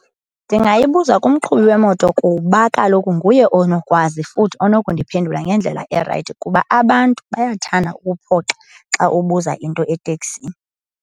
Ndingayibuza kumqhubi wemoto kuba kaloku nguye onokwazi futhi onokundiphendula ngendlela erayithi kuba abantu bayathanda ukuphoxa xa ubuza into eteksini.